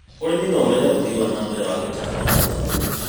ũrĩmi no ũrehe ũthii wa na mbere wa gĩtekinoronjĩ.